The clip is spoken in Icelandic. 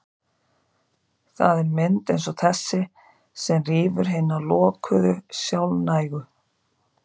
Það er mynd eins og þessi sem rýfur hina lokuðu, sjálfnægu